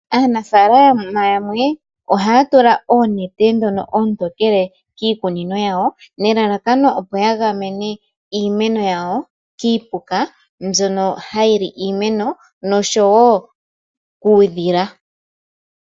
Aanafalama yamwe ohaya tula oonete dhono oontokele kiikunino yawo, nelalakano opo ya gamene iimeno yawo kiipuka mbyono hayi li iimeno, noshowo kuudhila.